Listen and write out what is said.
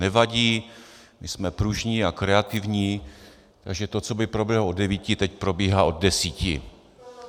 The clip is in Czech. Nevadí, my jsme pružní a kreativní, takže to, co by proběhlo od devíti, teď probíhá od deseti.